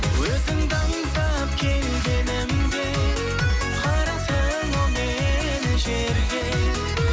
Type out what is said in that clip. өзіңді аңсап келгенімде қараттың ау мені жерге